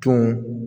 Tun